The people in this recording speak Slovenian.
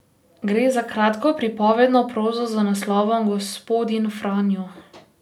Gre za kratko pripovedno prozo z naslovom Gospodin Franjo.